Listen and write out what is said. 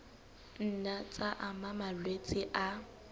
nna tsa ama malwetse a